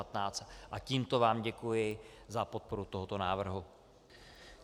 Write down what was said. A tímto vám děkuji za podporu tohoto návrhu.